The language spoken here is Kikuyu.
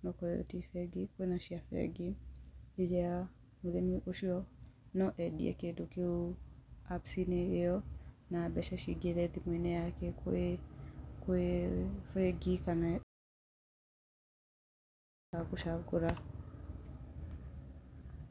onakorwo iyo ti bengi, kwīna cia bengi, iria mūrimī, ucio noo eendie kīndu kīu apps īyo na mbeca cingīre thimuinī yake, kwī bengi kaana -gūchagūra